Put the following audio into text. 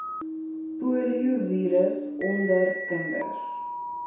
poliovirus onder kinders